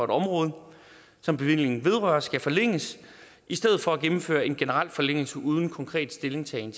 det område som bevillingen vedrører skal forlænges i stedet for at der gennemføres en generel forlængelse uden konkret stillingtagen